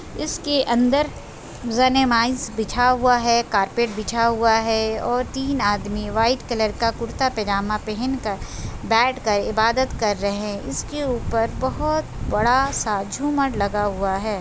इस के अंदर बिछा हुआ हैं कारपेट बिछा हुआ हैं और तीन आदमी वाइट कलर का कुर्ता पेजमा पहन कर बैठ कर इबादत कर रहे इस के ऊपर बहोत बड़ा-सा झूमर लगा हुआ हैं।